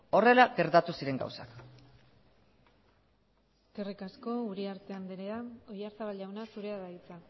horrela gertatu ziren gauzak eskerrik asko uriarte andrea oyarzabal jauna zurea da hitza